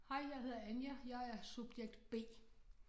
Hej jeg hedder Anja jeg er subjekt B